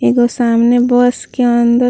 एगो सामने बस के अंदर --